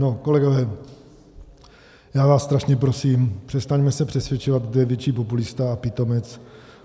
No kolegové, já vás strašně prosím, přestaňme se přesvědčovat, kdo je větší populista a pitomec.